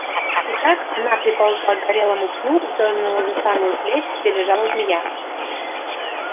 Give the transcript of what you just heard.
и так она приползла к горелому пню и дёрнула за самую плеть где лежала змея